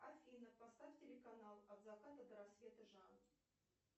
афина поставь телеканал от заката до рассвета